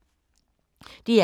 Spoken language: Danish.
DR K